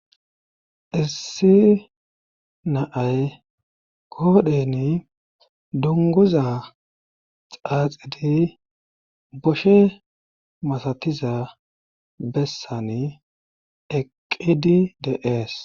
issi naay koodheni dunguza xaaxidi boshe masatiza bessani eqqidi deees